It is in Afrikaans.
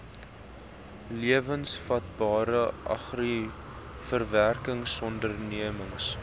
lewensvatbare agri verwerkingsondernemings